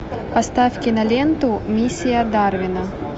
поставь киноленту миссия дарвина